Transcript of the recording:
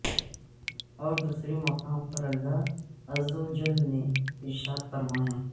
اور دوسرے مقام پر اللہ عزوجل نے ارشاد فرمایا